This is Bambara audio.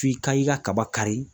F'i ka i ka kaba kari.